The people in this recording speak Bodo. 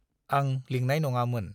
आं लिंनाय नङामोन।